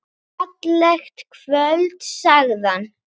Fallegt kvöld sagði hann.